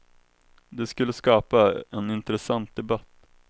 Det skulle skapa en intressant debatt.